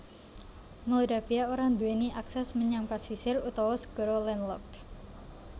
Moldavia ora nduwèni akses menyang pasisir utawa segara landlocked